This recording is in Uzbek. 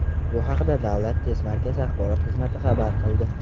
Bu haqda Davlat test markazi axborot xizmati xabar qildi .